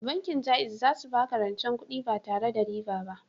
Bankin Jaiz za su baka rancen kudi ba tare da riba ba